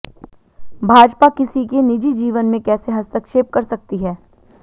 भाजपा किसी के निजी जीवन में कैसे हस्तक्षेप कर सकती है